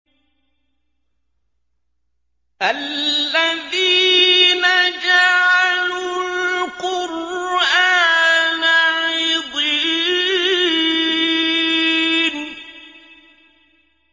الَّذِينَ جَعَلُوا الْقُرْآنَ عِضِينَ